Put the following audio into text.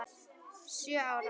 Sjö ára?